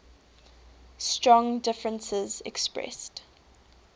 strong differences expressed